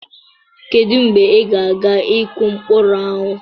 Kedu mgbe ị ga-aga ịkụ mkpụrụ ahụ?